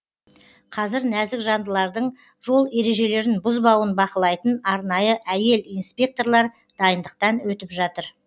қазір нәзік жандылардың жол ережелерін бұзбауын бақылайтын арнайы әйел инспекторлар дайындықтан өтіп жатыр